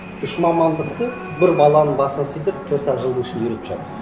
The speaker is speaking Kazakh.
үш мамандықты бір баланың басына сыйдырып төрт ақ жылдың ішінде үйретіп жатыр